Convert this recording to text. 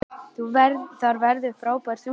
Þar verður frábært útsýni.